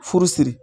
Furusiri